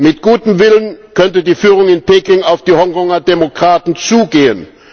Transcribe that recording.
Mit gutem Willen könnte die Führung in Peking auf die Hongkonger Demokraten zugehen.